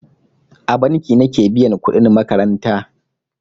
A banki nake biyan kudin makaranta.